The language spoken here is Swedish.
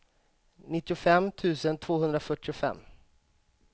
nittiofem tusen tvåhundrafyrtiofem